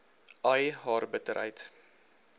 ai haar bitterheid